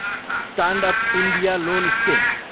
stand up India loan scheme